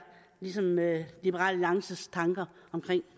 ligesom liberal alliances tanker om